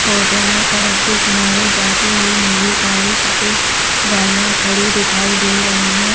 Photo में सड़क के किनारे जाती हुई नीली काली सफ़ेद गाड़ियाँ खड़ी दिखाई दे रहीं हैं।